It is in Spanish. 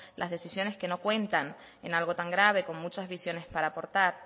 las decisiones que no cuentan en algo tan grave con muchas visiones para aportar